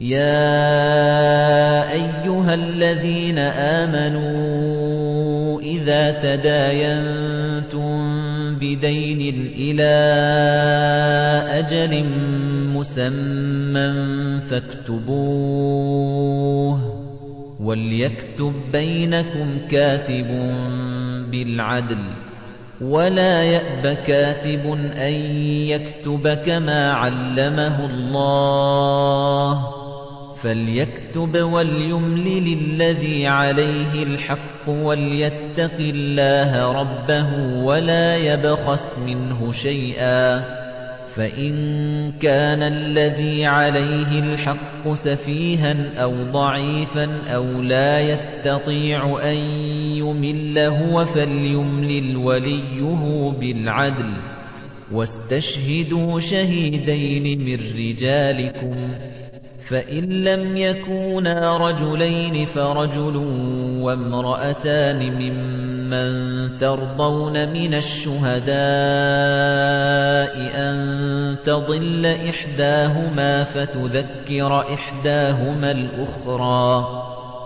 يَا أَيُّهَا الَّذِينَ آمَنُوا إِذَا تَدَايَنتُم بِدَيْنٍ إِلَىٰ أَجَلٍ مُّسَمًّى فَاكْتُبُوهُ ۚ وَلْيَكْتُب بَّيْنَكُمْ كَاتِبٌ بِالْعَدْلِ ۚ وَلَا يَأْبَ كَاتِبٌ أَن يَكْتُبَ كَمَا عَلَّمَهُ اللَّهُ ۚ فَلْيَكْتُبْ وَلْيُمْلِلِ الَّذِي عَلَيْهِ الْحَقُّ وَلْيَتَّقِ اللَّهَ رَبَّهُ وَلَا يَبْخَسْ مِنْهُ شَيْئًا ۚ فَإِن كَانَ الَّذِي عَلَيْهِ الْحَقُّ سَفِيهًا أَوْ ضَعِيفًا أَوْ لَا يَسْتَطِيعُ أَن يُمِلَّ هُوَ فَلْيُمْلِلْ وَلِيُّهُ بِالْعَدْلِ ۚ وَاسْتَشْهِدُوا شَهِيدَيْنِ مِن رِّجَالِكُمْ ۖ فَإِن لَّمْ يَكُونَا رَجُلَيْنِ فَرَجُلٌ وَامْرَأَتَانِ مِمَّن تَرْضَوْنَ مِنَ الشُّهَدَاءِ أَن تَضِلَّ إِحْدَاهُمَا فَتُذَكِّرَ إِحْدَاهُمَا الْأُخْرَىٰ ۚ